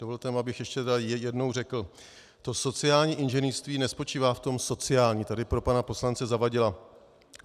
Dovolte mi, abych ještě jednou řekl, to sociální inženýrství nespočívá v tom sociální - tady pro pana poslance Zavadila.